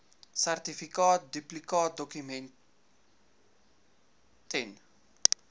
sertifikaat duplikaatdokument ten